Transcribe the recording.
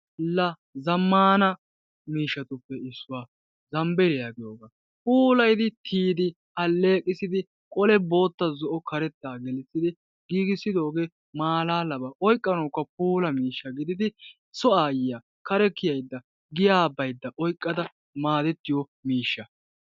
la1 zammana miishshatuppe issuwa zambbeliya puulayddi tiyyid aleeqqissidi qole bootta, zo'o, karetta giigissidooge malaaba oyqqanawukka puula miishsha gididi so aayiyya kare kiyaydda giyaa oyqqada maadetiyoo miishshaa.